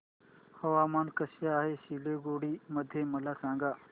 हवामान कसे आहे सिलीगुडी मध्ये मला सांगा